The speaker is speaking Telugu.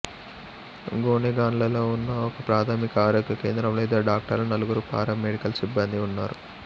గోనెగండ్లలో ఉన్న ఒక ప్రాథమిక ఆరోగ్య కేంద్రంలో ఇద్దరు డాక్టర్లు నలుగురు పారా మెడికల్ సిబ్బందీ ఉన్నారు